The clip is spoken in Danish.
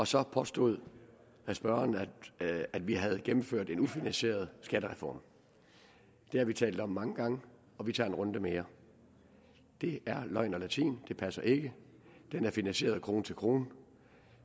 så påstod spørgeren at vi havde gennemført en ufinansieret skattereform det har vi talt om mange gange og vi tager en runde mere det er løgn og latin det passer ikke den er finansieret krone til krone